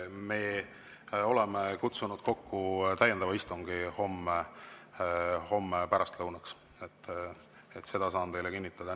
Me oleme kutsunud kokku täiendava istungi homme pärastlõunaks – seda saan teile kinnitada.